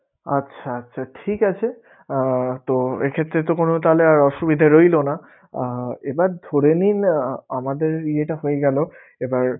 আচ্ছা আচ্ছা ঠিক আছে, আহ তো এক্ষেত্রে তো কোনো তাহলে আর অসুবিধা রইলোনা আহ এবার ধরে নিন আহ আমাদের ইয়েটা হয়ে গেলো এবার